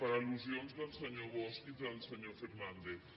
per al·lusions del senyor bosch i del senyor fernàndez